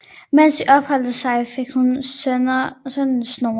Mens de opholdt sig der fik hun sønnen Snorre